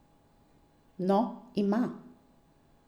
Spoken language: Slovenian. No, ima!